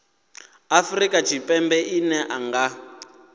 afrika tshipembe ḽine ḽa nga